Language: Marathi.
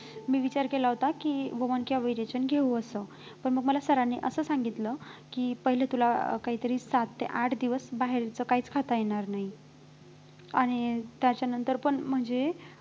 मी विचार केला होता की वमन किंवा विरेचन घेऊ असं पण मग मला sir नी असं सांगितलं की पहिले तुला अं काहीतरी सात ते आठ दिवस बाहेरचं काहीच खाता येणार नाही आणि त्याच्यानंतर पण म्हणजे